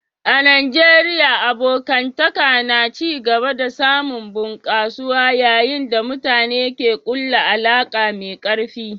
A Najeriya, abokantaka na ci gaba da samun bunƙasuwa yayin da mutane ke kulla alaka mai karfi.